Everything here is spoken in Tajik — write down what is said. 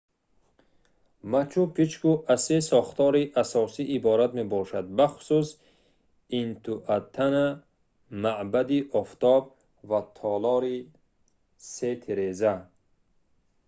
мачу-пикчу аз се сохтори асосӣ иборат мебошад бахусус интиуатана маъбади офтоб ва толори се тиреза